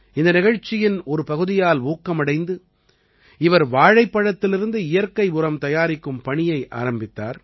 இந்த நிகழ்ச்சியின் ஒரு பகுதியால் ஊக்கமடைந்து இவர் வாழைப்பழத்திலிருந்து இயற்கை உரம் தயாரிக்கும் பணியை ஆரம்பித்தார்